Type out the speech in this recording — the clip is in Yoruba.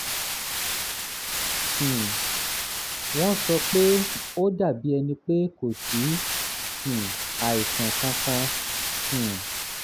um wọ́n sọ pé ó dàbí ẹni pé kò sí um àìsàn kankan um